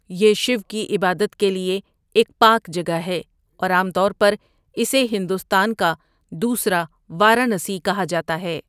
یہ شیو کی عبادت کے لئے ایک پاک جگہ ہے اور عام طور پر اسے ہندوستان کا دوسرا وارانسی کہا جاتا ہے۔